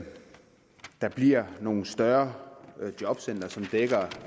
der bliver nogle større jobcentre som dækker